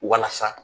Walasa